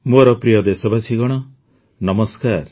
ମୋର ପ୍ରିୟ ଦେଶବାସୀଗଣ ନମସ୍କାର